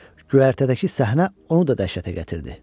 Göyərtədəki səhnə onu da dəhşətə gətirdi.